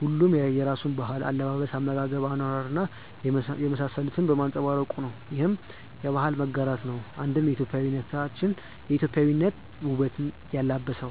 ሁሉም የየራሱን ባህል፣ አለባበስ፣ አመጋገብ፣ አኗኗር እና የመሳሰሉትን በማንፀባረቁ ነው። ይህም የባህል መጋራት ነው አንድም ኢትዮጵያዊነትን ውበት ያላበሰው።